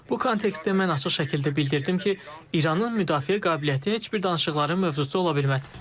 Bu kontekstdə mən açıq şəkildə bildirdim ki, İranın müdafiə qabiliyyəti heç bir danışıqların mövzusu ola bilməz.